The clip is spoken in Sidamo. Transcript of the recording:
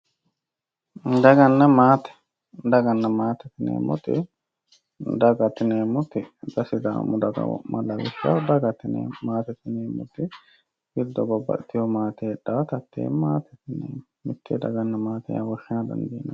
dagannna maaate daganna maatete ineemmoti daga xa sidaamu daga wo'ma dagate yineemo maate mitte babbaxewo heedhawota maatete yineemo mitte daganna maate woshsha dandiineemmo